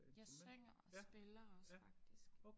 Jeg synger og spiller også faktisk